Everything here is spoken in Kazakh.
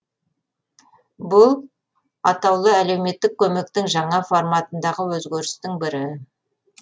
бұл атаулы әлеуметтік көмектің жаңа форматындағы өзгерістің бірі